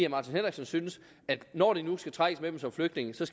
martin henriksen synes at når vi nu skal trækkes med dem som flygtninge skal